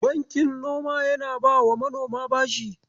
Bankin noma yana bawa manoma bashi.